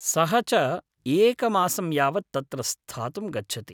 सः च एकमासं यावत् तत्र स्थातुं गच्छति।